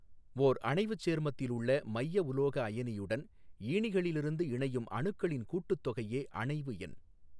ஓா் அணைவுச் சேர்மத்தில் உள்ள மைய உலோக அயனியுடன் ஈனிகளிலிருந்து இணையும் அணுக்களின் கூட்டுத்தொகையே அணைவு எண்.